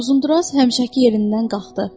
Uzunduraz həmişəki yerindən qalxdı.